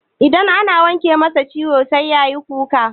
Idan ana wanke masa ciwo sai yayi ta kuka.